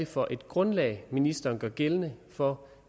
for et grundlag ministeren gør gældende for